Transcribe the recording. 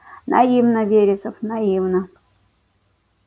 наивно вересов наивно